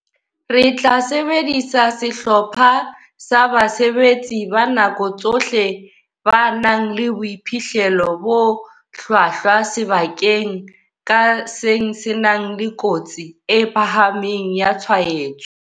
Re tla sebedisa sehlopha sa basebetsi ba nako tsohle ba nang le boiphihlelo bo hlwahlwa sebakeng ka seng se nang le kotsi e phahameng ya tshwaetso.